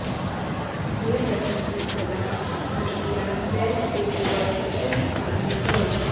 ये पठन्ति सदा भक्त्या न ते वै दुःखभागिनः